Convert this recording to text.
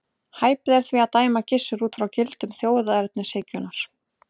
Hæpið er því að dæma Gissur út frá gildum þjóðernishyggjunnar.